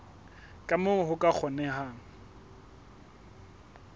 ka moo ho ka kgonehang